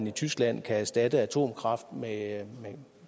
i tyskland kan erstatte atomkraft med